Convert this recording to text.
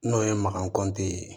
N'o ye makan kɔnti ye